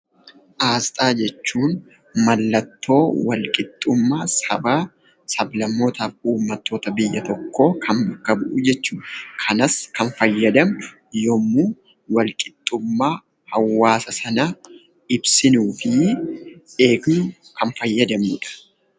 Aasxaa jechuun mallattoo walqixxummaa sabaaf sablammootafi uummattoota kan bakka bu'u jechuudha. Kanas kan fayyadamnu yemmuu walqixxummaa hawaasa sanaa ibsinuufi eegnu kan fayyadamnudha.